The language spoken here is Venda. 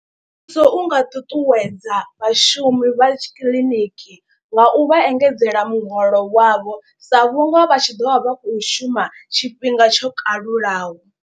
Muvhuso u nga ṱuṱuwedza vhashumi vha kiḽiniki nga u vha engedzela muholo wavho. Sa vhunga vha tshi ḓo vha vha khou shuma tshifhinga tsho kalulaho.